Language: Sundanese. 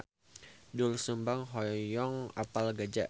Doel Sumbang hoyong apal Gaza